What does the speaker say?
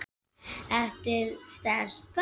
Valtýr Björn Valtýsson: Manstu ekkert eftir þessu?